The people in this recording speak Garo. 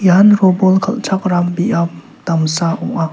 ian robol kal·chakram biap damsa ong·a.